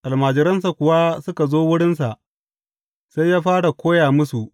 Almajiransa kuwa suka zo wurinsa, sai ya fara koya musu.